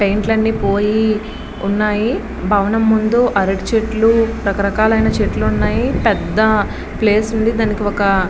పెయింట్లు అన్ని పోయి ఉన్నాయి భవనం ఉంది అరటి చెట్లు రకరకాలైన చెట్లు ఉన్నాయి పెద్ద ప్లేస్ ఉంది దానికి ఒక --